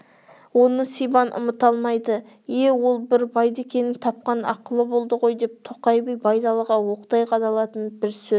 оны сибан ұмыта алмайды е ол бір байдекеңнің тапқан ақылы болды ғой деп тоқай би байдалыға оқтай қадалатын бір сөз